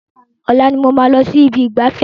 Ọ̀la ni mo máa lọ sí ibi ìgbafẹ́.